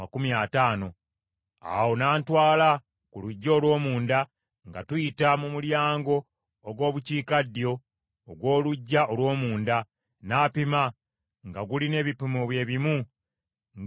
Awo n’antwala mu luggya olw’omunda nga tuyita mu mulyango ogw’Obukiikaddyo ogw’oluggya olw’omunda, n’apima, nga gulina ebipimo bye bimu ng’emirala gyonna.